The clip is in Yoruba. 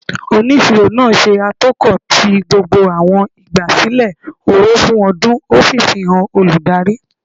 Oniṣiro náá ṣe atokọ ti gbógbó awọn igbasilẹ ọwọ fún ọdun, o sí fihán olùdarí